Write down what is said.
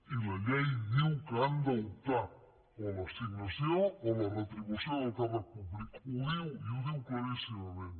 i la llei diu que han d’optar o l’assignació o la retribució del càrrec públic ho diu i ho diu claríssimament